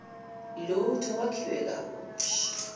lutho kwakhiwe kabusha